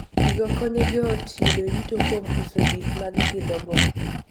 Gigo konyo joot yudo yuto kuom uso gik ma gipidhogo.